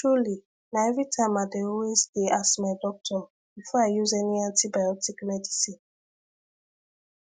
truly na everytime i dey always dey ask my doctor before i use any antibiotic medicine